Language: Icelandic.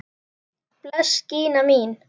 Bless Gína mín!